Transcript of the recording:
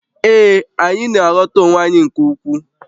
Ee, anyị na-aghọta onwe anyị nke ukwuu